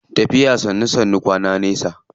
Tafiya sannu sannu kwana nesa.